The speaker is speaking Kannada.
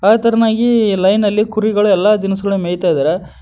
ಅದೇತರ್ನಾಗಿ ಲೈನ್ ನಲ್ಲಿ ಕುರಿಗಳು ಎಲ್ಲಾ ದಿನ್ಸ್ ಗಳು ಮೆಯ್ತಾದರೆ.